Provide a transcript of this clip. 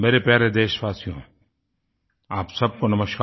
मेरे प्यारे देशवासियों आप सबको नमस्कार